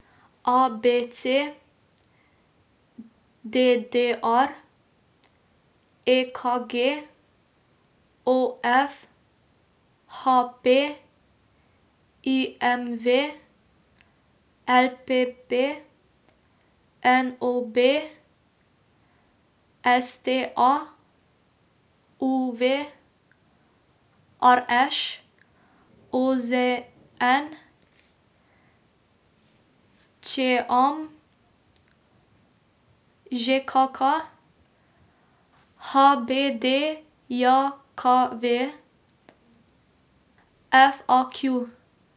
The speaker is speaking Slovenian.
A B C; D D R; E K G; O F; H P; I M V; L P P; N O B; S T A; U V; R Š; O Z N; Č M; Ž K K; H B D J K V; F A Q.